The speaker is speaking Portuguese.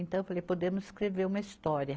Então eu falei, podemos escrever uma história.